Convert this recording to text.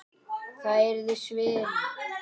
Það yrði svindl.